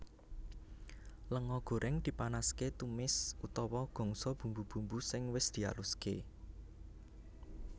Lenga goreng dipanaske tumis utawa gongso bumbu bumbu sing wis dialuske